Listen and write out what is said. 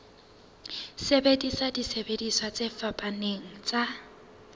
sebedisa disebediswa tse fapaneng tsa